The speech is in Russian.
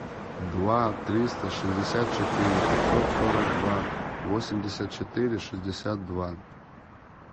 два триста шестьдесят четыре пятьсот сорок два восемьдесят четыре шестьдесят два